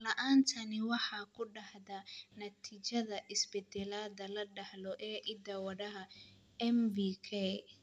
La'aantani waxay ku dhacdaa natiijada isbeddellada la dhaxlo ee hidda-wadaha MVK.